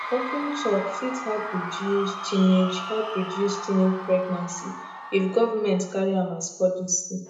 open talk fit help reduce teenage help reduce teenage pregnancy if government carry am as policy